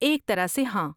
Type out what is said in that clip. ایک طرح سے، ہاں؟